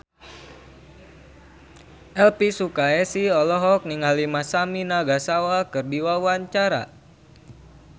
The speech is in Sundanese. Elvi Sukaesih olohok ningali Masami Nagasawa keur diwawancara